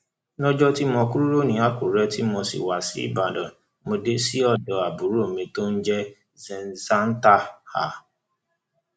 lọjọ tí mo kúrò ní akure tí mo wá ṣíbàdàn mo dé sí ọdọ àbúrò mi tó ń jẹ zlanta um